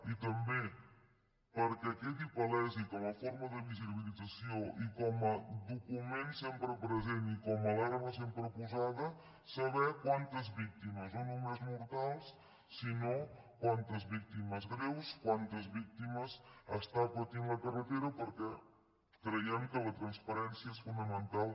i també perquè quedi palès i com a forma de visi·bilització i com a document sempre present i com a alarma sempre posada saber quantes víctimes no només mortals sinó quantes víctimes greus quantes víctimes està patint la carretera perquè creiem que la transparència és fonamental